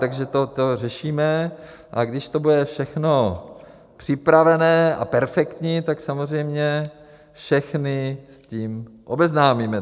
Takže to řešíme, a když to bude všechno připravené a perfektní, tak samozřejmě všechny s tím obeznámíme.